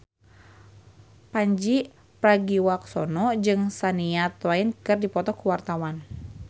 Pandji Pragiwaksono jeung Shania Twain keur dipoto ku wartawan